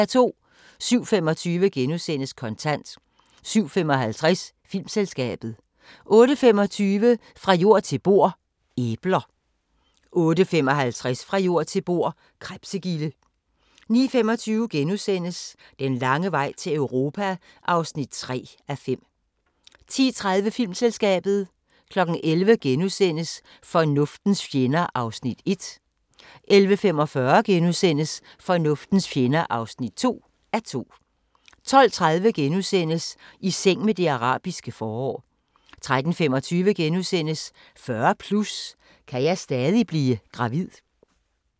07:25: Kontant * 07:55: Filmselskabet 08:25: Fra jord til bord: Æbler 08:55: Fra jord til bord: Krebsegilde 09:25: Den lange vej til Europa (3:5)* 10:30: Filmselskabet 11:00: Fornuftens fjender (1:2)* 11:45: Fornuftens fjender (2:2)* 12:30: I seng med det arabiske forår * 13:25: 40+ – kan jeg stadig blive gravid? *